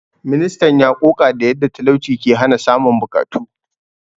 Ministan ya ƙoƙa da yadda talauci ke hana samun buƙatu.